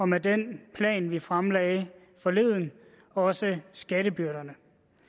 med den plan vi fremlagde forleden også skattebyrderne